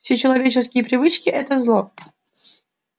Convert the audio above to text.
все человеческие привычки это зло